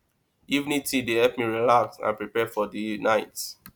evening tea dey help me relax and prepare for the night